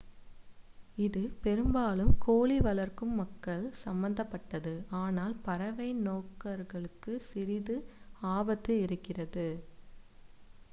இது பெரும்பாலும் கோழி வளர்க்கும் மக்கள் சம்பந்தப்பட்டது ஆனால் பறவை நோக்கர்களுக்கும் சிறிது ஆபத்து இருக்கிறது